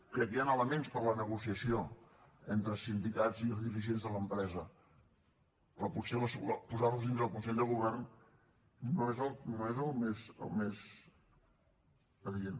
crec que hi han elements per a la negociació entre sindicats i dirigents de l’empresa però potser posar los dintre del consell de govern no és el més adient